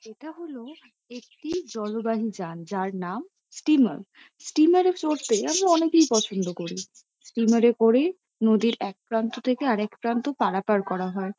এটা হলো একটি জলবাহী যান। যার নাম স্টিমার । স্টিমার এ চড়তে আমরা অনেকেই পছন্দ করি। স্টিমার এ করে নদীর একপ্রান্ত থেকে আরেক প্রান্ত পারাপার করা হয় |